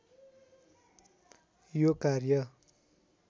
यो कार्य